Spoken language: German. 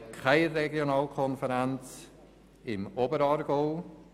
Keine Regionalkonferenz haben wir im Oberaargau.